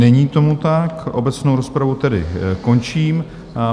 Není tomu tak, obecnou rozpravu tedy končím.